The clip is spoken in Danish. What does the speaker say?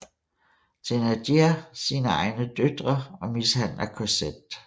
Thénardier sine egne døtre og mishandler Cosette